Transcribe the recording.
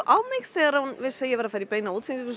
á mig þegar hún vissi að ég væri að fara í beina útsendingu